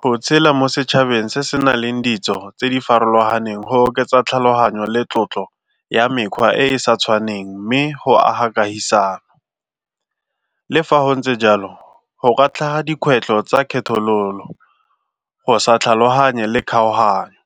Go tshela mo setšhabeng se se na leng ditso tse di farologaneng go oketsa tlhaloganyo le tlotlo ya mekgwa e e sa tshwaneng mme go aga kagisano le fa go ntse jalo go katla dikgwetlho tsa kgethololo go sa tlhaloganye le kgaoganyo.